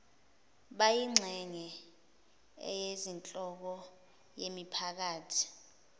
bayingxenye eyinhloko yemiphakathi